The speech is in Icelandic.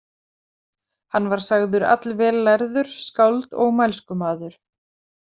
Hann var sagður allvel lærður, skáld og mælskumaður.